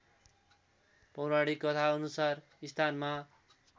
पौराणिक कथाअनुसार स्थानमा